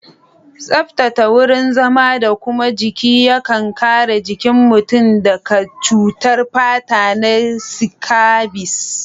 Tsaftata wurin zama da kuma jiki yakan kare jikin mutum daka cutar fata na sikabis